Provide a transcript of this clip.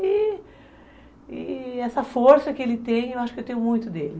E, e essa força que ele tem, eu acho que eu tenho muito dele.